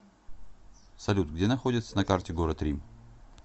салют где находится на карте город рим